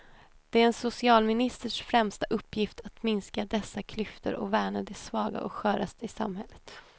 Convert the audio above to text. Det är en socialministers främsta uppgift att minska dessa klyftor och värna de svaga och sköraste i samhället.